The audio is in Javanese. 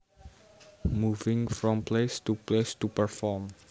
Moving from place to place to perform